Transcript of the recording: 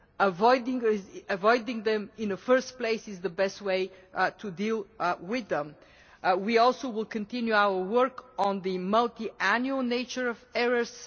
Avoiding them in the first place is the best way to deal with them. We also will continue our work on the multi annual nature of errors.